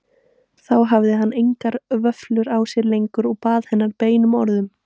Þá hafði hann engar vöflur á sér lengur og bað hennar beinum orðum.